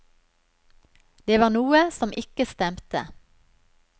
Det var noe som ikke stemte.